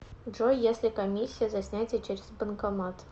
джой если комиссия за снятие через банкомат